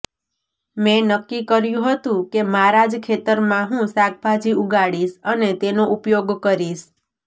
મેં નક્કી કર્યુ હતું કે મારા જ ખેતરમાં હું શાકભાજી ઉગાડીશ અને તેનો ઉપયોગ કરીશ